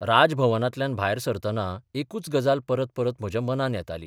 राज भवनांतल्यान भायर सरतना एकूच गजाल परत परत म्हज्या मनांत येताली.